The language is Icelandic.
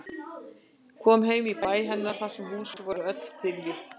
Koma heim í bæ hennar þar sem hús voru öll þiljuð.